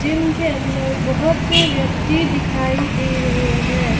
Gym के अंदर बहुत से व्यक्ति दिखाई दे रहे हैं।